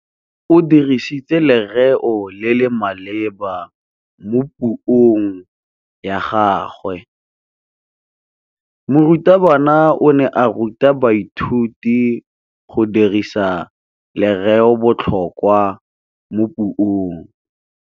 O dirisitse lerêo le le maleba mo puông ya gagwe. Morutabana o ne a ruta baithuti go dirisa lêrêôbotlhôkwa mo puong.